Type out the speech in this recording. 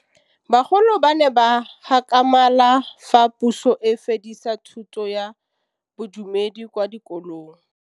Bagolo ba ne ba gakgamala fa Pusô e fedisa thutô ya Bodumedi kwa dikolong.